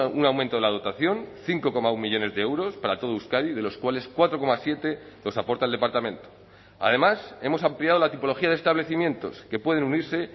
un aumento de la dotación cinco coma uno millónes de euros para todo euskadi de los cuales cuatro coma siete los aporta el departamento además hemos ampliado la tipología de establecimientos que pueden unirse